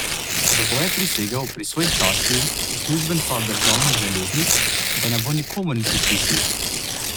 Zato je prisegel pri svoji časti uslužbenca državnih železnic, da ne bo nikomur niti pisnil.